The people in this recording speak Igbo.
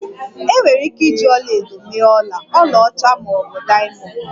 Enwere ike iji ọla edo mee ọla, ọlaọcha ma ọ bụ diamond